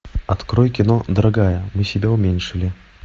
открой кино дорогая мы себя уменьшили